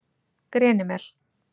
Grenimel